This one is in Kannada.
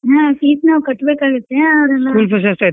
ಹ್ಮ್ fees ನಾವ್ ಕಟ್ಬೇಕಾಗುತ್ತೆ ಅವ್ರ ಎಲ್ಲಾ .